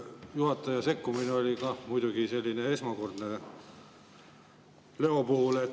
Juhataja selline sekkumine oli kah muidugi esmakordne Leo puhul.